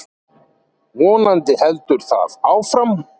Vonandi heldur það áfram.